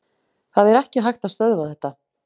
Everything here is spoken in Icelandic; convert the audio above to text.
Það er ekki hægt að stöðva þetta.